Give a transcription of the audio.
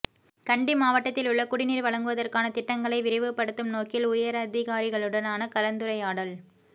கண்டி மாவட்டத்திலுள்ள குடிநீர் வழங்குவதற்கான திட்டங்களை விரைவுபடுத்தும் நோக்கில் உயரதிகாரிகளுடனான கலந்துரையாடல்